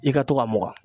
I ka to ka mugan